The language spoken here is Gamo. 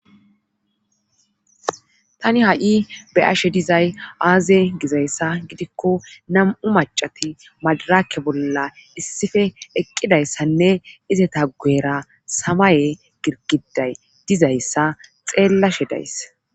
tani ha'i be'ashe dizay aaze gizayssa gidikko nam'u macati madaraakke bolla issife eqqidayssanne izeta guera samaye girgiday dizayssa xeellashe dayssa